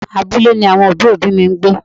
Abúlé ni àwọn òbí òbí mi ń gbé.